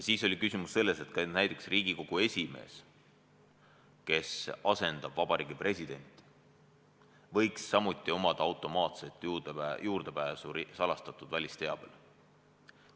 Siis oli küsimus selles, et näiteks Riigikogu esimees, kes asendab Vabariigi Presidenti, võiks samuti omada automaatset juurdepääsu salastatud välisteabele.